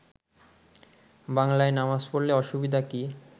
বাংলায় নামাজ পড়লে অসুবিধা কি